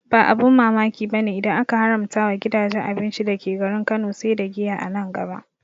Ba abin mamaki bane idan aka haramta wa gidajen abinci dake garin Kano sai da giya a nan gaba